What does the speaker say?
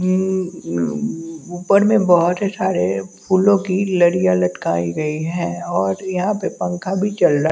उम्म्म ऊपर में बहोत सारे फूलों की लड़िया लटकाईं गई है और यहां पे पंखा भीच चल--